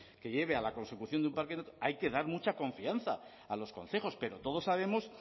que lleve a la consecución de un parque hay que dar mucha confianza a los concejos pero todos sabemos